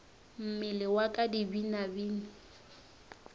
mmele wa ka di binabine